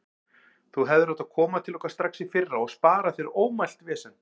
Þú hefðir átt að koma til okkar strax í fyrra og spara þér ómælt vesen.